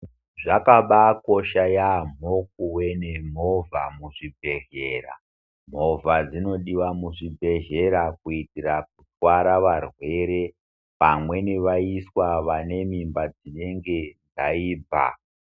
Zvakabakosha yambo, kuvenemuva muzvibhedhlera. Mova dzonodiwa muzvibhedhlera kuyitira kuthwara varwerwe pamwe vevaiswa vanemimba dzinenge dzayibva.